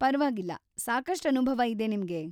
ಪರ್ವಾಗಿಲ್ಲ, ಸಾಕಷ್ಟ್ ಅನುಭವ ಇದೆ ನಿಮ್ಗೆ.